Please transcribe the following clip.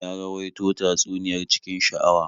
Ya rawaito tatsuniyar cikin sha'awa.